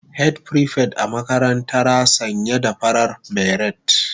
Head prefect a makarantara sanye da farar beret